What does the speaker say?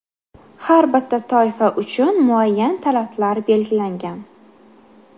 Har bitta toifa uchun muayyan talablar belgilangan.